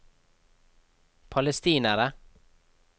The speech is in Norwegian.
palestinere